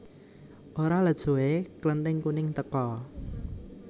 Ora let suwé Klething kuning teka